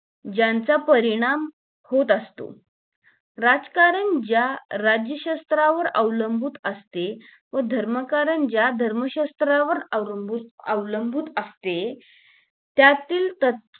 ज्यांचा परिणाम होत असतो राजकारण जून राज्य शास्त्रावर अवलंबुन असते व धर्म कारण ज्या धर्म शास्त्रावर अवलंबुन अवलूंबून असते त्यातील त